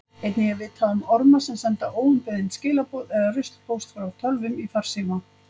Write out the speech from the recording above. Einnig er vitað um orma sem senda óumbeðin skilaboð eða ruslpóst frá tölvum í farsíma.